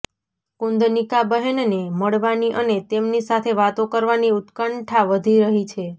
કુન્દનિકાબહેનને મળવાની અને તેમની સાથે વાતો કરવાની ઉત્કંઠા વધી રહી છે